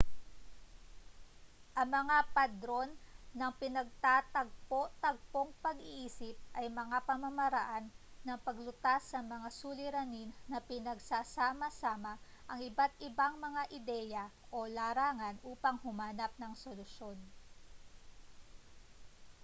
ang mga padron ng pinagtatagpo-tagpong pag-iisip ay mga pamamaraan ng paglutas sa mga suliranin na pinagsasama-sama ang iba't-ibang mga ideya o larangan upang humanap ng solusyon